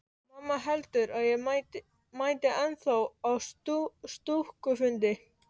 Mamma heldur að ég mæti ennþá á stúkufundi.